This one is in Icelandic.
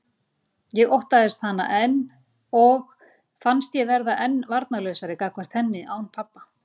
Ég óttaðist hana enn og fannst ég verða enn varnarlausari gagnvart henni án pabba.